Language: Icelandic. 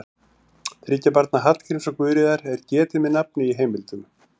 Þriggja barna Hallgríms og Guðríðar er getið með nafni í heimildum.